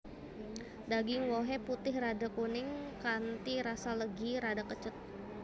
Daging wohé putih rada kuning kanthi rasa legi rada kecut